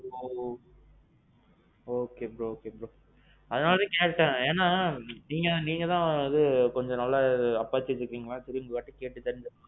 எ. okay okay bro. அதான் கேட்டேன் ஏனா, நீங்கதான் கொஞ்சம் நல்லா apache வச்சிருக்கீங்களா.